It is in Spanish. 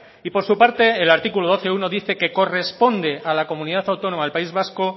y por su parte el artículo doce punto uno dice que corresponde a la comunidad autónoma del país vasco